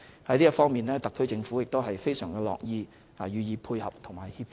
在這方面，特區政府非常樂意予以配合和協助。